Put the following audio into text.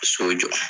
So jɔ